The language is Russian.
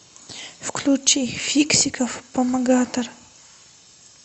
включи фиксиков помогатор